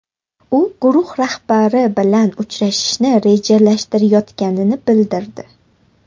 U guruh rahbari bilan uchrashishni rejalashtirayotganini bildirdi.